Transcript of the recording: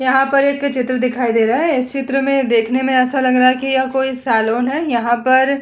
यहाँ पर एक चित्र दिखाई दे रहा है। इस चित्र में देखने में ऐसा लग रहा है कि यह कोई सैलून है। यहाँ पर --